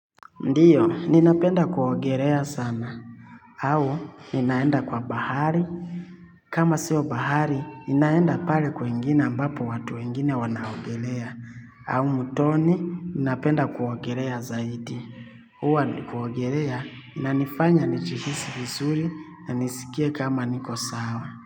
Ndiyo, ninapenda kuogelea sana. Au, ninaenda kwa bahari. Kama siyo bahari, ninaenda pale kwengine ambapo watu wengine wanaogelea. Au mtoni, ninapenda kuogelea zaidi. Huwa nikiogelea inanifanya nijihisi vizuri na nisikie kama niko sawa.